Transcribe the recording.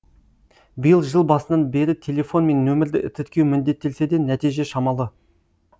биыл жыл басынан бері телефон мен нөмірді тіркеу міндеттелсе де нәтиже шамалы